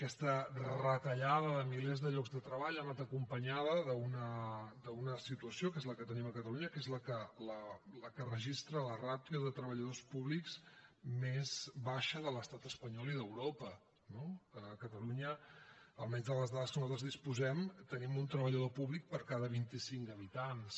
aquesta retallada de milers de llocs de treball ha anat acompanyada d’una situació que és la que tenim a catalunya que és la que registra la ràtio de treballadors públics més baixa de l’estat espanyol i d’europa no a catalunya almenys de les dades de què nosaltres disposem tenim un treballador públic per cada vint i cinc habitants